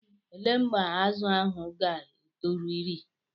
Elee mgbe azụ ahụ ga-etoru iri?